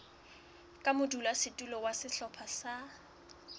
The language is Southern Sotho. ka modulasetulo wa sehlopha sa